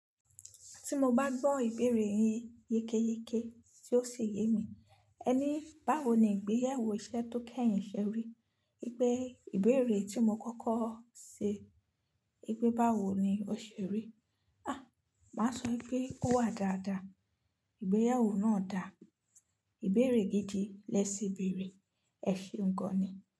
Tí mo bá gbọ́ ìbéèrè yin yékéyéke tí ó sì yé mi. Ẹ ní báwo ni ìgbéyàwó iṣẹ́ tó kẹ́yìn ṣe rí? Gbé ìbéèrè tí mo kọ́kọ́ ṣe, wi pe báwo ni ó ṣe rí? A! Màá sọ pé ó wà dáadáa. Ìgbéyàwó náà dà, ìbéèrè gidi lẹ ṣì béèrè, ẹ̀ ṣe ńgan ni?